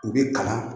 U bɛ kalan